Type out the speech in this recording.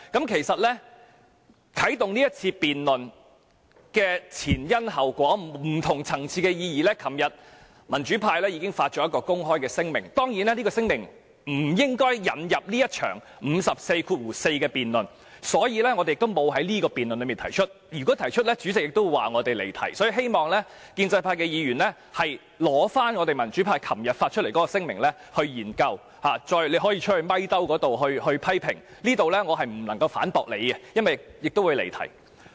其實，啟動這次辯論的前因後果和不同層次的意義，民主派昨天已發出公開聲明，當然，這聲明不應引入這一場根據《議事規則》第544條動議的議案辯論，所以我們沒有在這項辯論中提出，否則主席會說我們離題，所以希望建制派議員研究民主派昨天發出的聲明，他們可以到外面的傳媒採訪區批評我們，但我不能在此反駁他們，因為會屬發言離題。